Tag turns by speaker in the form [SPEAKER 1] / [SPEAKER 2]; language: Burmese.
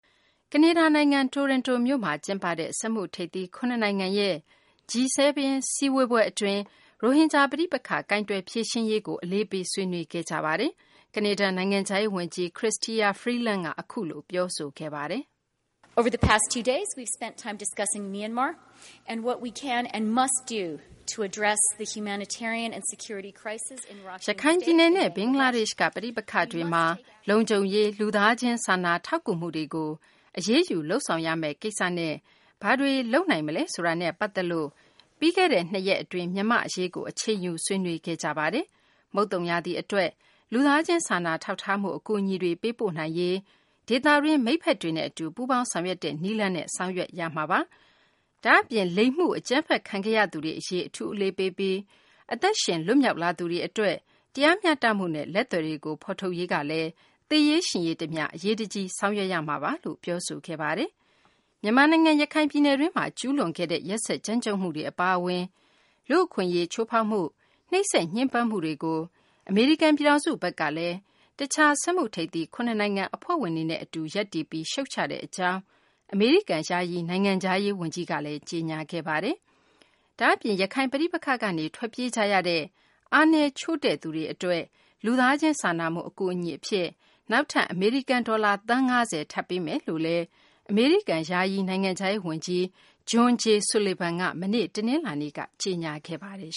[SPEAKER 1] ကနေဒါ နိုင်ငံ တိုရွန်တိုမြို့မှာ ကျင်းပတဲ့ စက်မှုထိပ်သီး ၇ နိုင်ငံရဲ့ G7 စည်းဝေးပွဲ အတွင်း ရိုဟင်ဂျာ ပဋိပက္ခ ကိုင်တွယ်ဖြေရှင်းရေးကိုလည်း အလေးပေး ဆွေးနွေးခဲ့ကြတာပါ။ ကနေဒါ နိုင်ငံခြားရေး ဝန်ကြီး Chrystia Freeland က အခုလို ပြောဆိုခဲ့ပါ
[SPEAKER 2] တယ်။ "ရခိုင်ပြည်နယ်
[SPEAKER 1] နဲ့ ဘင်္ဂလားဒေရှ့်က ပဋိပက္ခတွေမှာ လုံခြုံရေး၊ လူသားချင်း စာနာထောက်ကူမှုတွေကို အရေးယူ လုပ်ဆောင်ရမယ့်ကိစ္စနဲ့ ဘာတွေ လုပ်နိုင်မလဲ ဆိုတာနဲ့ ပတ်သက်ပြီး ပြီးခဲ့တဲ့ ၂ ရက် အတွင်း မြန်မာ့အရေးကို အချိန်ယူ ဆွေးနွေးခဲ့ကြပါတယ်။ မုတ်သုန်ရာသီ အတွက် လူသားချင်းစာနာထောက်ထားမှု အကူအညီတွေ ပေးပို့နိုင်ရေး ဒေသတွင်း မိတ်ဖက်တွေနဲ့ အတူ ပူးပေါင်းဆောင်ရွက်တဲ့ နည်းလမ်းနဲ့ ဆောင်ရွက်ရမှာပါ။ ဒါ့အပြင် လိင်မှု အကြမ်းဖက်ခံခဲ့ရသူတွေ အရေး အထူးအလေးပေးပြီး အသက်ရှင်လွတ်မြောက်လာသူတွေ အတွက် တရားမျှတမှုနဲ့ လက်သည်တွေကို ဖော်ထုတ်ရေးကလည်း သေရေးရှင်ရေး တမျှ အရေးတကြီး ဆောင်ရွက်ရမှာပါ။" မြန်မာနိုင်ငံ ရခိုင်ပြည်နယ်တွင်းမှာ ကျူးလွန်ခဲ့တဲ့ ရက်စက်ကြမ်းကြုတ်မှုတွေ အပါအဝင် လူ့အခွင့်အရေး ချိုးဖောက်မှု၊ နှိပ်စက်ညှဉ်းပန်းမှုတွေကို အမေရိကန်ပြည်ထောင်စု ဘက်ကလည်း တခြား စက်မှုထိပ်သီး ၇ နိုင်ငံ အဖွဲ့ဝင်တွေနဲ့ အတူ ရပ်တည်ပြီး ရှုတ်ချကြောင်း အမေရိကန် ယာယီ နိုင်ငံခြားရေး ဝန်ကြီးက ကြေညာခဲ့ပါတယ်။ ဒါ့အပြင် ရခိုင်ပဋိပက္ခကနေ ထွက်ပြေးကြရတဲ့ အားနည်း ချို့တဲ့သူတွေ အတွက် လူသားချင်းစာနာမှု အကူအညီအဖြစ် နောက်ထပ် အမေရိကန် ဒေါ်လာ သန်း ၅၀ ထပ်ပေးမယ်လို့ အမေရိကန် ယာယီနိုင်ငံခြားရေး ဝန်ကြီး John J. Sullivan က မနေ့ တနလာၤနေ့က ကြေညာခဲ့ပါတယ်